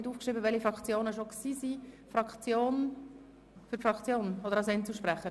Tritt er für die Fraktion oder als Einzelsprecher auf?